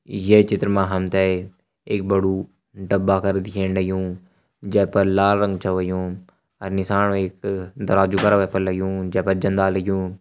ये चित्र मा हम ते एक बड़ु डब्बा कर दिखेण लग्युं जै पर लाल रंग छ होयुं अर नीसाण वै एक दराजु करा वै पर लग्युं जै पर जंदा लग्युं।